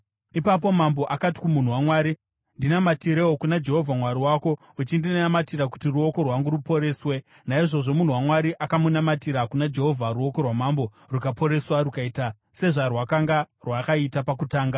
Ipapo mambo akati kumunhu waMwari, “Ndinamatirewo kuna Jehovha Mwari wako uchindinamatira kuti ruoko rwangu ruporeswe.” Naizvozvo munhu waMwari akamunamatira kuna Jehovha ruoko rwamambo rukaporeswa rukaita sezvarwakanga rwakaita pakutanga.